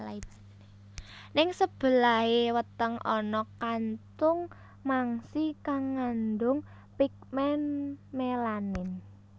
Ning sebelahé weteng ana kantung mangsi kang ngandung pigmen melanin